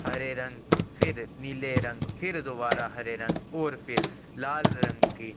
हरे रंग फिर नील रंग फिर दोबारा हरे रंग और फिर लाल रंग की--